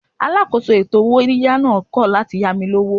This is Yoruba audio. Alákòóso ètò owó yíyá náà kọ̀ láti yá mi lówó.